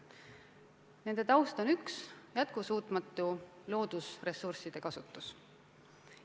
Nende taust on üks: jätkusuutmatu loodusressursside kasutus.